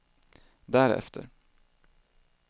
därefter